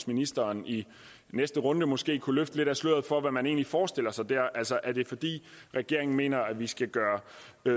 ministeren i næste runde måske kunne løfte lidt af sløret for hvad man egentlig forestiller sig der altså er det fordi regeringen mener at vi skal gøre